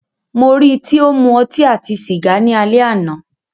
Mó rí í tí o ń mú ọtí àti sìgá ni alẹ́ àná.